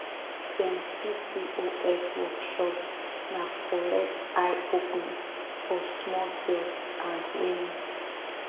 dem pcos workshop na correct eye opener for small girls and women